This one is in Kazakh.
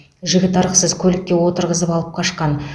жігіт ырықсыз көлікке отырғызып алып қашқан